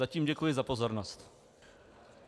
Zatím děkuji za pozornost.